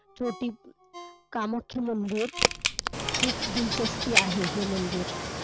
चोटी कामाख्या मंदिर, खूप दिलचस्पी आहे हे मंदिर.